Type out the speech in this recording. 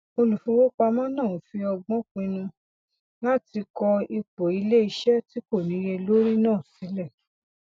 olùfowópamọ náà fi ọgbọn pinnu láti kọ ipò iléiṣẹ tí kò níye lórí náà sílẹ